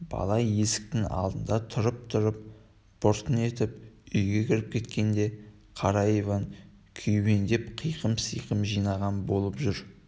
бала есіктің алдында тұрып-тұрып бұртың етіп үйге кіріп кеткенде қара иван күйбеңдеп қиқым-сиқым жинаған болып жүріп